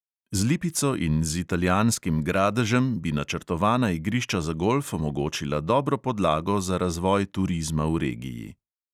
Z lipico in z italijanskim gradežem bi načrtovana igrišča za golf omogočila dobro podlago za razvoj turizma v regiji.